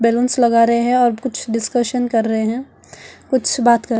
balloons लगा रहे हैं और कुछ डिस्कशन कर रहे हैं कुछ बात कर--